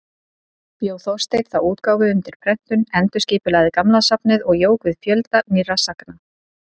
Bjó Þorsteinn þá útgáfu undir prentun, endurskipulagði gamla safnið og jók við fjölda nýrra sagna.